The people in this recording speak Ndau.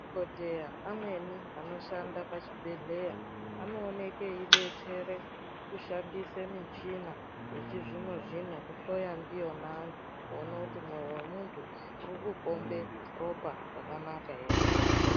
Madhokodheya amweni anoshande pachibhedhleya anooneke eidetsere kushandisa michina echizvino zvino kuhloya ndiyona antu kuona mwoyo wemuntu urikupombe ropa rakanaka here.